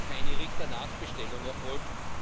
keine Richter— Nachbestellung erfolgt.